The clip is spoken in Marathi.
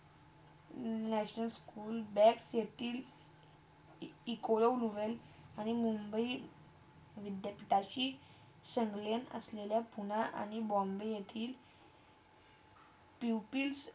National school बेक्स येतील इकोले नोव्हेले आणि मुंबई विद्यापीठांशी संबंध असलेल्या पुण्या आणि बॉम्बे येतील pupils